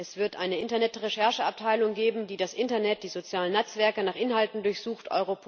Es wird eine Internet Rechercheabteilung geben, die das Internet und die sozialen Netzwerke nach Inhalten durchsucht.